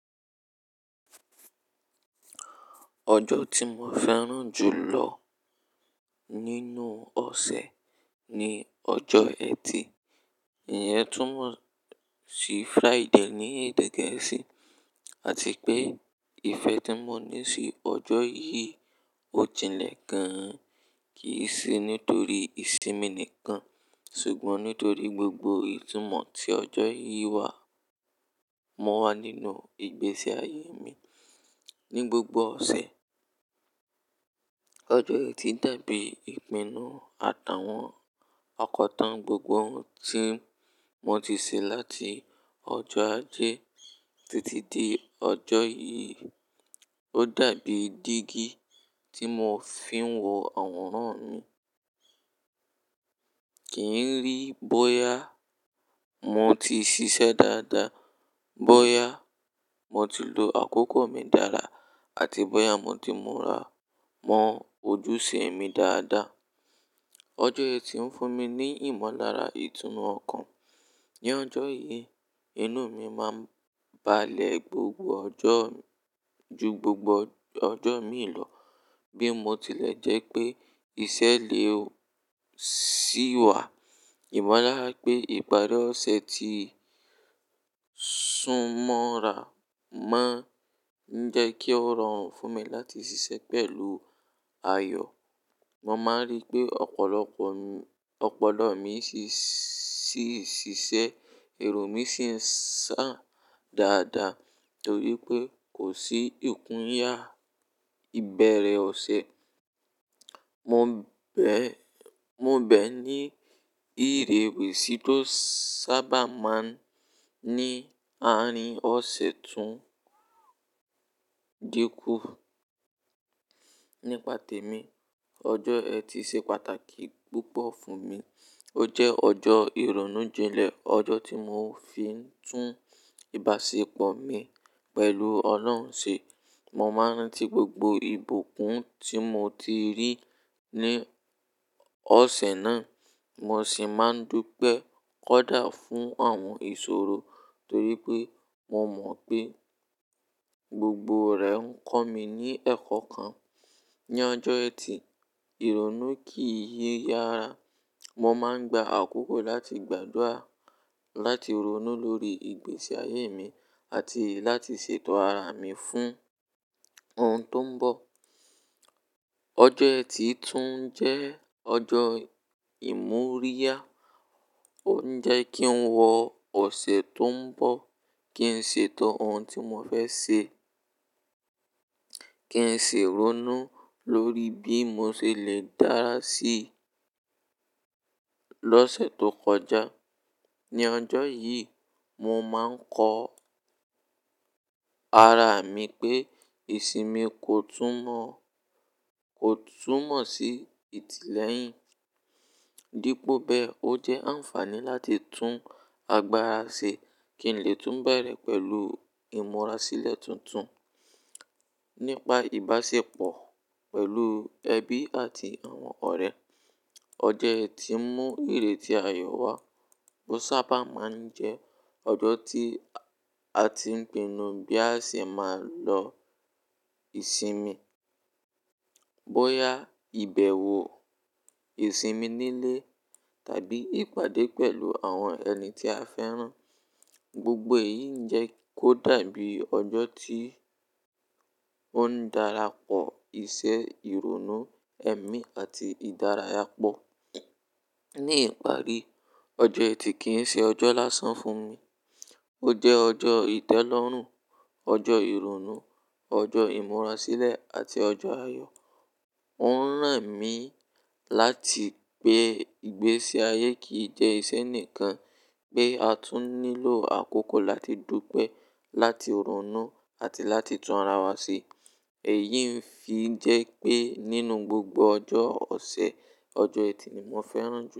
Ọjọ́ tí mo fẹ́ràn jù lọ nínú ọ̀sẹ̀ ni ọjọ́ ẹtì. Ìyẹn túmọ̀ sí Friday ní èdè Gẹ̀ẹ́sì àti pé ìfẹ́ tí mo ní sí ọjọ́ yìí ò jinlẹ̀ gan-an. Kì í ṣe nítorí ìsinmi nìkan, ṣùgbọ́n nítorí gbogbo ìtumọ̀ tí ọjọ́ yìí wá. Mo wà nínú ìgbésí ayé mi ní gbogbo ọ̀sẹ̀. Ọjọ́ ẹtì dàbí ìpinnu àtàwọn ọkọ̀ tán gbogbo oun tí mo ti ṣe láti ọjọ́ ajé títí di ọjọ́ yìí. Ó dàbí jígí tí mo fi ń wo àwòrán mi. Kì í rí bóyá mo ti ṣiṣẹ́ dáadáa, bóyá mo ti lo àkókò mi dára àti bóyá mo ti mura mọ ojúṣe mi dáadáa. Ọjọ́ ẹtì ń fún mi ní ìmọ̀lára ìtùnú ọkàn. Ni ọjọ́ yìí, inú mi máa ń balẹ̀ gbogbo ọjọ́ ju gbogbo ọjọ́ mi lọ bí mo tilẹ̀ jẹ́ pé ìṣẹ̀lẹ̀ òṣì wà. Ìmọ̀lára pé ìparí ọ̀sẹ̀ ti súnmọ́ra mọ ń jẹ́ kí ó rọrùn fún mi láti ṣiṣẹ́ pẹ̀lú ayọ̀. Mo máa ń rí pé ọ̀pọ̀lọpọ̀ mi, ọ̀pọ̀lọpọ̀ mi ṣíì ṣiṣẹ́, ẹrú mi sì ń ṣá dáadáa torí pé kò sí ìkún yá ìbẹ̀rẹ̀ ọ̀sẹ̀. Mo bẹ́, mo bẹ́ ní ìrèwẹ̀sì tó sábà máa ń ní àárín ọ̀sẹ̀ tún dínkù. Nípa tèmi, ọjọ́ ẹtì ṣe pàtàkì púpọ̀ fún mi. Ó jẹ́ ọjọ́ ìrònú jinlẹ̀, ọjọ́ tí mo fi ń tún ìbáṣepọ̀ mi pẹ̀lú Ọlọ́run ṣe. Mo máa ń ti gbogbo ìbùkún tí mo ti rí ní ọ̀sẹ̀ náà, mo sì máa ń dúpẹ́ kódà fún àwọn ìṣòro torí pé mo mọ̀ pé gbogbo rẹ̀ ń kọ́ mi ní ẹ̀kọ́ kan. Ni ọjọ́ ẹtì, ìrònú kì í yára. Mo máa ń gba àkókò láti gbàdúrà, láti ronú lórí ìgbésí ayé mi àti láti ṣètọ́ ara mi fún oun tó ń bọ̀. Ọjọ́ ẹtì tún jẹ́ ọjọ́ ìmúríyá. Ó ń jẹ́ kí n wo ọ̀sẹ̀ tó ń bọ̀, kí n ṣètọ́ oun tí mo fẹ́ ṣe, kí n ṣi rónú lórí bí mo ṣe lè dára sí lọ́sẹ̀ tó kọjá. Ni ọjọ́ yìí, mo máa ń kọ ara mi pé ìsinmi kò tún mọ́, kò tún mọ̀ sí ìtìlẹyìn. Dípò bẹ́, ó jẹ́ àǹfààní láti tún agbára ṣe kí n lè tún bẹ̀rẹ̀ pẹ̀lú ìmúrasílẹ̀ tuntun nípa ìbáṣepọ̀ pẹ̀lú ẹbí àti àwọn ọ̀rẹ́. Ọjọ́ ẹtì mú ìrètí ayọ̀ wá bó sábà máa ń jẹ́ ọjọ́ tí a ti ń pinnu bí a ṣe máa lọ ìsinmi, bóyá ìbẹ̀wò, ìsinmi nílé tàbí ìpàdé pẹ̀lú àwọn ẹni tí a fẹ́ràn. Gbogbo èyí ń jẹ́ kó dàbí ọjọ́ tí ó ń darapọ̀ iṣẹ́, ìrònú, ẹ̀mí àti ìdárayá pọ̀. Ní ìparí, ọjọ́ ẹtì kì í ṣe ọjọ́ lásán fún mi. Ó jẹ́ ọjọ́ ìtẹ́lọ́rùn, ọjọ́ ìrònú, ọjọ́ ìmúrasílẹ̀ àti ọjọ́ ayọ̀. Ó ń ràn mí láti pé ìgbésí ayé kì í jẹ́ ìṣe nìkan, pé a tún nílò àkókò láti dúpẹ́, láti ronú àti láti tun ara wa ṣe. Èyí ń fi jẹ́ pé nínú gbogbo ọjọ́ ọ̀sẹ̀, ọjọ́ ẹtì ni mo fẹ́ràn jù.